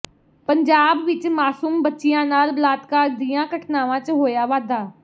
ਪੰਜਾਬ ਵਿੱਚ ਮਾਸੂਮ ਬਚੀਆਂ ਨਾਲ ਬਲਾਤਕਾਰ ਦੀਆਂ ਘਟਨਾਵਾਂ ਚ ਹੋਇਆ ਵਾਧਾ